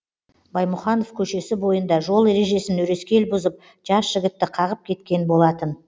баймұханов көшесі бойында жол ережесін өрескел бұзып жас жігітті қағып кеткен болатын